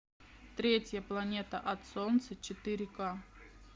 третья планета от солнца четыре ка